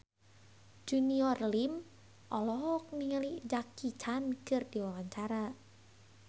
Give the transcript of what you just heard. Junior Liem olohok ningali Jackie Chan keur diwawancara